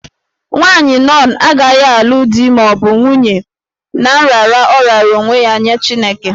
Nwaanyị nọn agaghị alụ di ma ọ bụ nwunye ná nrara ọ raara onwe ya nye Chineke.